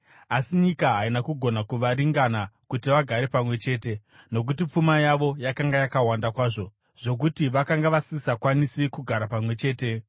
Asi nyika haina kugona kuvaringana kuti vagare pamwe chete, nokuti pfuma yavo yakanga yakawanda kwazvo zvokuti vakanga vasisakwanisi kugara pamwe chete.